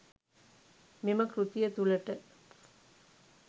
මෙම කෘතිය තුළට